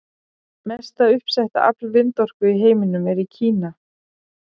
Mesta uppsetta afl vindorku í heiminum er í Kína.